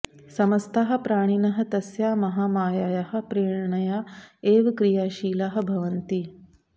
समस्ताः प्राणिनः तस्याः महामायायाः प्रेरणया एव क्रियाशीलाः भवन्ति